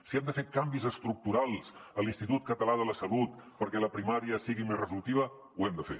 si hem de fer canvis estructurals a l’institut català de la salut perquè la primària sigui més resolutiva ho hem de fer